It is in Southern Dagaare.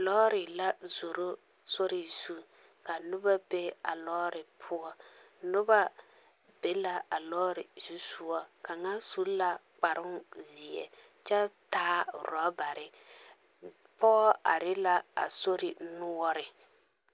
Lɔɔre la zoro sori zu ka noba be a lɔɔre poɔ noba be la a lɔɔre zu soga kaŋa su la kparoŋzeɛ kyɛ taa ɔrɔbare pɔge are la a sori noɔre.